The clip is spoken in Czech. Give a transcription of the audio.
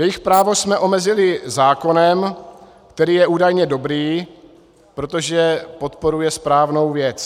Jejich právo jsme omezili zákonem, který je údajně dobrý, protože podporuje správnou věc.